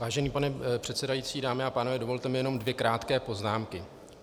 Vážený pane předsedající, dámy a pánové, dovolte mi jenom dvě krátké poznámky.